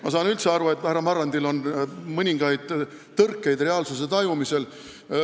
Ma saan üldse aru, et härra Marrandil on mõningaid tõrkeid reaalsuse tajumisel.